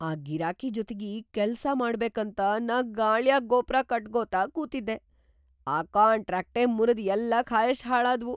ಆ ಗಿರಾಕಿ ಜೊತಿಗಿ ಕೆಲ್ಸಾ ಮಾಡ್ಬೇಕಂತ ನಾ ಗಾಳ್ಯಾಗ್‌ ಗೋಪ್ರಾ ಕಟಗೋತ ಕೂತಿದ್ದೆ, ಆ ಕಾಂಟ್ರಾಕ್ಟೇ ಮುರದ್‌ ಎಲ್ಲಾ ಖಾಯಷ್‌ ಹಾಳಾದ್ವು.